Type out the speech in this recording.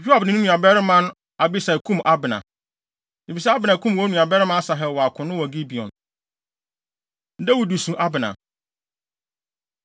Yoab ne ne nuabarima Abisai kum Abner, efisɛ Abner kum wɔn nuabarima Asahel wɔ akono wɔ Gibeon. Dawid Su Abner